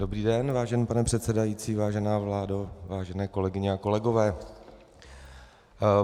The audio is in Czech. Dobrý den, vážený pane předsedající, vážená vládo, vážené kolegyně a kolegové.